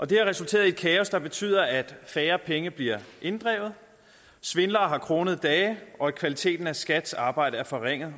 det har resulteret i kaos der betyder at færre penge bliver inddrevet svindlere har kronede dage og kvaliteten af skats arbejde er forringet